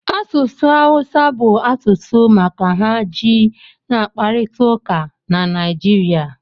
Asụsụ awụsa bụ asụsụ maka ha ji n'kparịta ụka na Naịjirịa